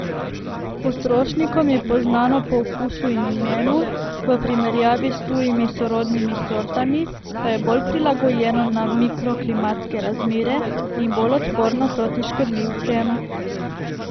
Potrošnikom je poznano po okusu in imenu, v primerjavi s tujimi sorodnimi sortami pa je bolj prilagojeno na mikroklimatske razmere in bolj odporno proti škodljivcem.